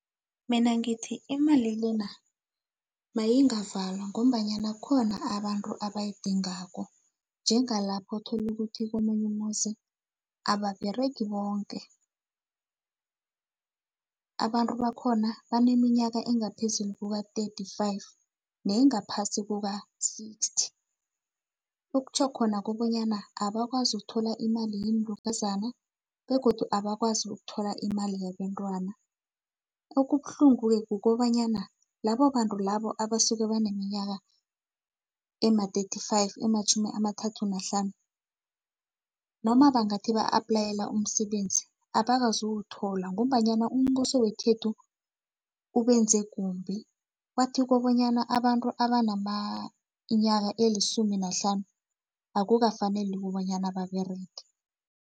Mina ngithi imali le na mayingavalwa ngombanyana khona abantu abayidingako, njengalapha othola ukuthi komunye umuzi ababeregi bonke. Abantu bakhona abaneminyaka engaphezulu kuka-thirty-five, nengaphasi kuka-sixty, kutjho khona kobanyana abakwazi ukuthola imali yeenlukazana, begodu abakwazi ukuthola imali yabentwana. Okubuhlungu-ke, kukobanyana labo bantu labo, abasuke baneminyaka ema-thirty-five, ematjhumi amathathu nahlanu, noma bangathi ba-aplayela umsebenzi, abakazowuthola ngombanyana umbuso wekhethu ubenze kumbi, wathi kobonyana abantu abaneminyaka elisumi nahlanu, akukafaneli kobonyana baberege.